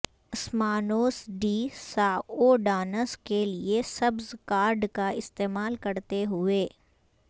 اسمانوس ڈی سائوڈاناس کے لئے سبز کارڈ کا استعمال کرتے ہوئے